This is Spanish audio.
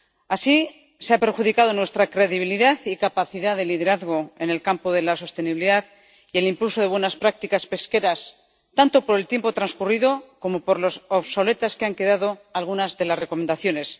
Así, se ha perjudicado nuestra credibilidad y capacidad de liderazgo en el campo de la sostenibilidad y el impulso de buenas prácticas pesqueras, tanto por el tiempo transcurrido como por lo obsoletas que han quedado algunas de las recomendaciones.